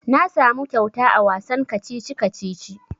Na samu kyauta a wasan kacici-kacici.